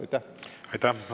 Aitäh!